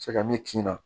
Se ka min kin na